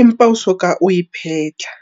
empa o soka o e phetha.